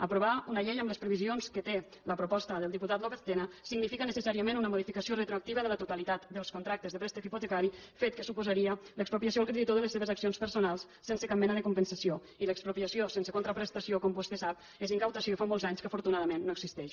aprovar una llei amb les previsions que té la proposta del diputat lópez tena significa necessàriament una modificació retroactiva de la totalitat dels contractes de préstec hipotecari fet que suposaria l’expropiació al creditor de les seves accions personals sense cap mena de compensació i l’expropiació sense contraprestació com vostè sap és incautació i fa molts anys que afortunadament no existeix